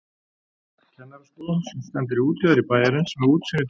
Kennaraskólann sem stendur í útjaðri bæjarins með útsýni til